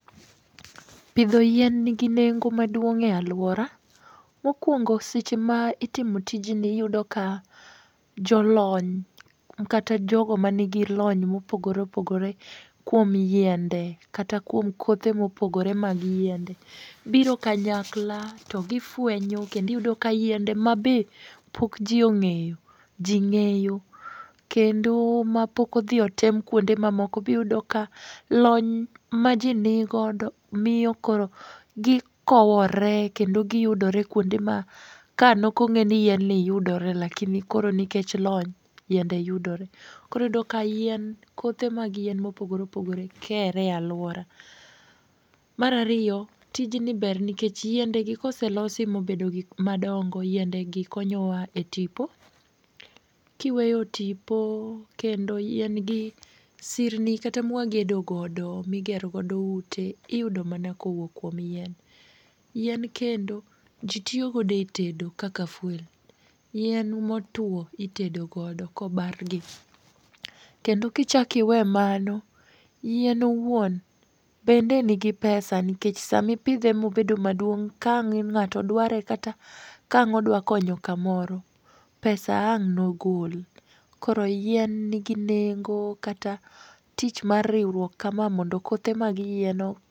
Pidho yien nigi nengo maduong' e aluora. Mokwongo seche ma itimo tijni iyudo ka jolony, kata jogo ma nigi lony mopogore opogore kuom yiende, kata kuom kothe mopogore mag yiende, biro kanyakla to gifwenyo kendo iyudo ka yiende ma be pok ji ong'eyo, ji ng'eyo. Kendo ma pok odhi o tem kuonde mamoko biyudo ka lony ma ji ni godo, miyo koro gikowore kendo giyudore kuonde ma ka no kong'e ni yien ni yudore lakini koro nikech lony yende yudore. Koro iyudoka yien kothe mag yien mopogore opogore kere aluora. Mar ariyo, tijni ber nikech yiende gikoselosi mobedo gik madongo yiende gikonyowa e tipo. Kiweyo tipo kendo yIen gi, sirni kata mwagedo godo, migero godo ute, iyudo mana kowuok kuom yien. Yien kendo jitiyo gode e tedo kaka fuel. Yien motwo itedo godo kobargi. Kendo kichak iwe mano, yien owuon bende nigi pesa nikech sama ipidhe mobedo maduong' kaang' ng'ato dware kata kang' odwa konyo kamoro. Pesa ang'no goli. Koro yien nigi nengo kata tich mar riwruok kama mondo kothe mag yien ok.